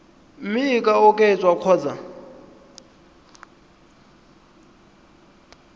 mme e ka oketswa kgotsa